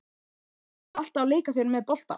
Varstu alltaf að leika þér með bolta?